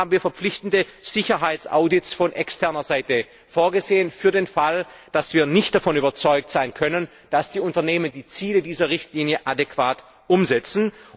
Deswegen haben wir verpflichtende Sicherheitsaudits von externer Seite vorgesehen für den Fall, dass wir nicht davon überzeugt sein können, dass die Unternehmen die Ziele dieser Richtlinie adäquat umsetzen.